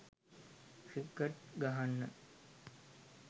cricket ගහන්න